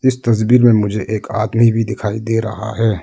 इस तस्वीर में मुझे एक आदमी भी दिखाई दे रहा है।